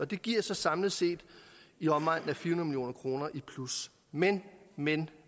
det giver så samlet set i omegnen af fire hundrede million kroner i plus men men